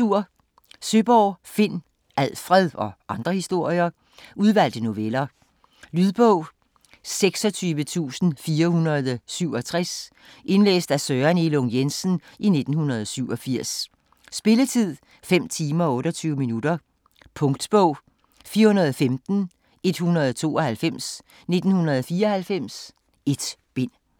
Søeborg, Finn: Alfred - og andre historier Udvalgte noveller. Lydbog 26467 Indlæst af Søren Elung Jensen, 1987. Spilletid: 5 timer, 28 minutter. Punktbog 415192 1994. 1 bind.